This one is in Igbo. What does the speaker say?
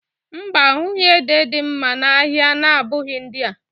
Mba, a ahụghị ede dị mma n'ahịa na-abụghị ndị a